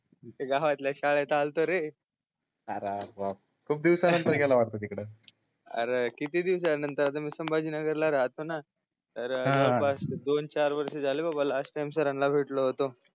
गावातल्या शाळेत आलतो रे अरे बाप खूप दिवसांनतर गेला वाटते तिकडे अरे किती दिवसांनतर आता मी संभाजी नगर ला राहतो न तर दोन चार वर्ष झाले बाबा लास्ट टाइम सरांनला भेटलो होतो